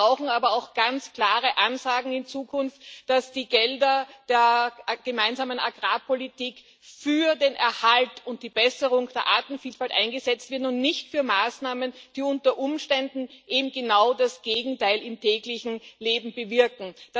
Wir brauchen aber auch ganz klare Ansagen in Zukunft, dass die Gelder der Gemeinsamen Agrarpolitik für den Erhalt und die Besserung der Artenvielfalt eingesetzt werden und nicht für Maßnahmen, die unter Umständen eben genau das Gegenteil im täglichen Leben bewirken.